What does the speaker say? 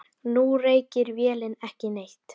Nú reykir vélin ekki neitt.